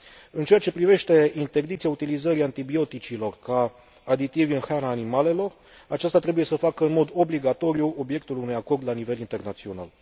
În ceea ce privește interdicția utilizării antibioticelor ca aditivi în hrana animalelor, aceasta trebuie să facă în mod obligatoriu obiectul unui acord la nivel internațional.